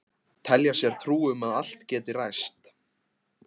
Telja sér trú um að allt geti ræst.